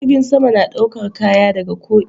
Jirgin sama na ɗaukar Kaya daga ko ina